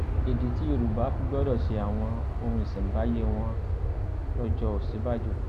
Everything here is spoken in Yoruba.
ìdí tí yorùbá fi gbọdọ ṣe àwọn ohun ìṣẹǹbáyé wọn lọjọ òsínbàjò